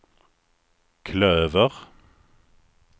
klöver